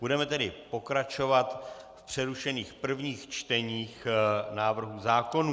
Budeme tedy pokračovat v přerušených prvních čteních návrhů zákonů.